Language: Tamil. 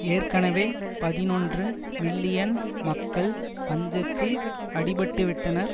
ஏற்கனவே பதினொன்று மில்லியன் மக்கள் பஞ்சத்தில் அடிப்பட்டுவிட்டனர்